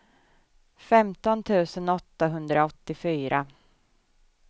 femton tusen åttahundraåttiofyra